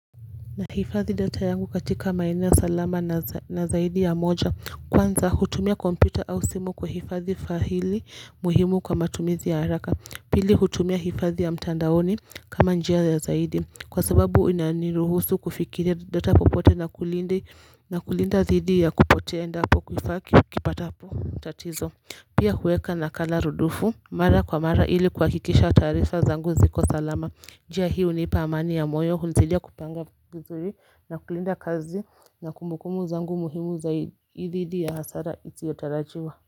Nahifadhi data yangu katika maeneo ya salama na zaidi ya moja kwanza hutumia computer au simu kuhifadhi fahili muhimu kwa matumizi ya haraka pili hutumia hifadhi ya mtandaoni kama njia ya zaidi kwa sababu inaniruhusu kufikiria data popote na kulinda dhidi ya kupotea endapo kifaa kipatapo tatizo. Pia hueka nakala rudufu mara kwa mara ili kuhakikisha tarifa zangu ziko salama njia hii hunipa amani ya moyo hunisaidia kupanga vizuri na kulinda kazi na kumbukumbu zangu muhimu za dhidi ya hasara isiyotarajiwa.